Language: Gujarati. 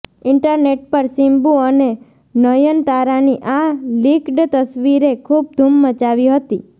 ઇંટરનેટ પર સિમ્બૂ અને નયનતારાની આ લીક્ડ તસવીરે ખૂબ ધૂમ મચાવી હતી